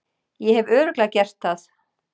Ég hef Örugglega gert það.